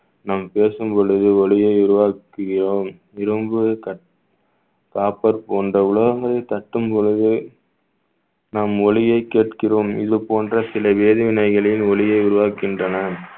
நாம் பேசும்பொழுது ஒலியை உருவாக்குகிறோம் copper போன்ற உலோகங்களை தட்டும் பொழுது நம் ஒலியைக் கேட்கிறோம் இது போன்ற சில வேதிவினைகளின் ஒலியை உருவாக்குகின்றன